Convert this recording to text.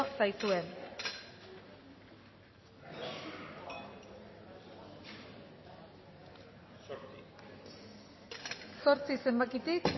zaizue zortzi zenbakitik